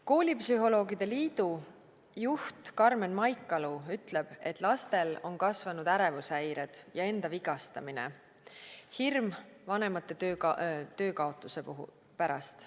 Koolipsühholoogide liidu juht Karmen Maikalu ütleb, et lastel on kasvanud ärevushäired ja enda vigastamine, hirm vanemate töökaotuse pärast.